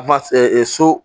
so